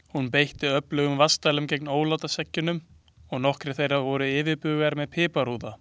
Hún beitti öflugum vatnsdælum gegn ólátaseggjunum og nokkrir þeirra voru yfirbugaðir með piparúða.